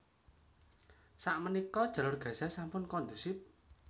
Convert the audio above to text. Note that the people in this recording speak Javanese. Sak menika Jalur Gaza sampun kondusif